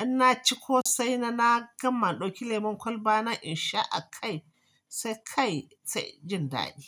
in na ci ƙosai na, na gama na ɗauki lemon kwalba na in sha a kai, sai kai sai inji daɗi.